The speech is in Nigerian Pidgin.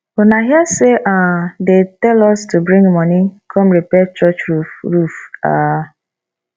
una hear say um they tell us to bring money come repair church roof roof um